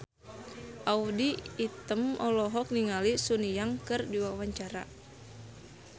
Audy Item olohok ningali Sun Yang keur diwawancara